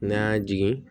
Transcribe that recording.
N'a y'a jigin